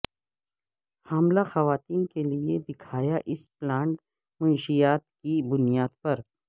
حاملہ خواتین کے لئے دکھایا اس پلانٹ منشیات کی بنیاد پر